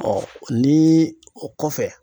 ni o kɔfɛ.